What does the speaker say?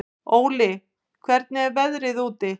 Óli, hvernig er veðrið úti?